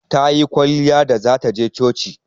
Tayi kwalliya da zata je coci.